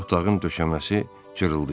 Otağın döşəməsi cırıldayır.